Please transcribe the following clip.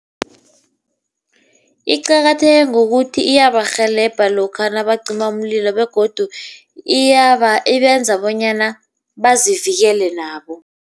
Iqakatheke ngokuthi iyabarhelebha lokha nabacima umlilo begodu ibenza bonyana bazivikele nabo.